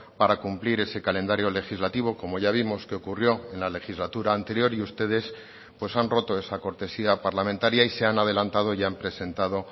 para cumplir ese calendario legislativo como ya vimos que ocurrió en la legislatura anterior y ustedes pues han roto esa cortesía parlamentaria y se han adelantado y han presentado